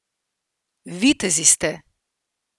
Vitezi ste!